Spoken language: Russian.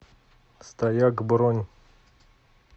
стояк бронь